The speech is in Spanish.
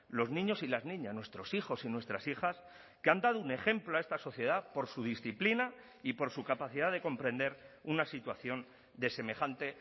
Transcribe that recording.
los niños y las niñas nuestros hijos y nuestras hijas que han dado un ejemplo a esta sociedad por su disciplina y por su capacidad de comprender una situación de semejante